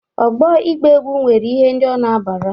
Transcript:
Ọgbọ ịgba egwụ nwere ihe ndị ọ na-abara.